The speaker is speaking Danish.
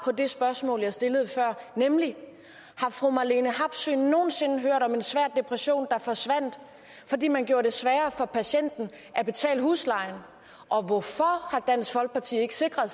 det spørgsmål jeg stillede før nemlig har fru marlene harpsøe nogen sinde hørt om en svær depression der forsvandt fordi man gjorde det sværere for patienten at betale huslejen og hvorfor har dansk folkeparti ikke sikret